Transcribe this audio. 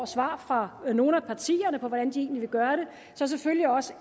svar fra nogle af partierne på hvordan de egentlig vil gøre det selvfølgelig også